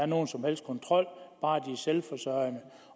nogen som helst kontrol bare de er selvforsørgende